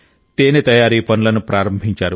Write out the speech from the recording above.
తేనె తయారీ పనులను ప్రారంభించారు